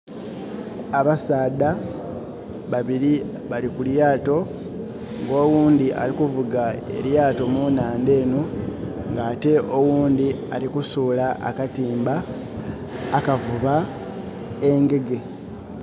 Abasaadha babili bali ku lyaato nga owundhi ali kuvuga elyaato munandha eno, nga ate owundhi alikusuula akatimba akavuba engege.